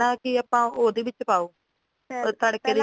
ਵੀ ਪਹਿਲਾਂ ਆਪਾਂ ਕੇ ਪਹਿਲਾਂ ਉਹਦੇ ਵਿੱਚ ਪਾਓ ਤੜਕੇ ਦੇ ਵਿਚ ਪਾਓ